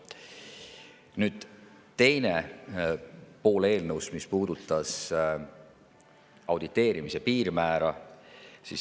Nüüd teine pool eelnõust, mis puudutas auditeerimise piirmäära.